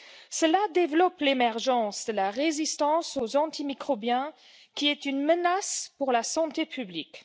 Cela développe l'émergence de la résistance aux antimicrobiens, qui est une menace pour la santé publique.